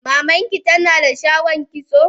Maman ki ta na da shagon kitso?